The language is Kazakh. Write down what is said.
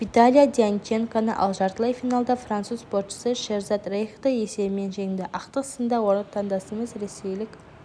виталия дьяченконы ал жартылай финалда француз спортшысы шеразад рейхті есебімен жеңді ақтық сында отандасымыз ресейлік